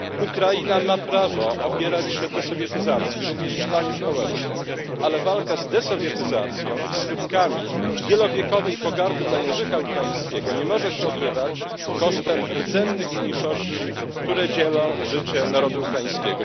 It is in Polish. Ukraina ma prawo opierać się sowietyzacji również w planie społecznym, ale walka z sowietyzacją i skutkami wielowiekowej pogardy dla języka ukraińskiego nie może się odbywać kosztem rdzennych mniejszości, które dzielą życie narodu ukraińskiego.